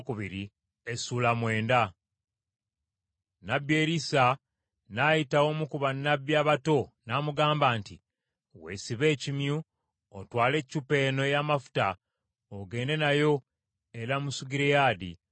Nnabbi Erisa n’ayita omu ku bannabbi abato n’amugamba nti, “Weesibe ekimyu, otwale eccupa eno ey’amafuta, ogende nayo e Lamosugireyaadi.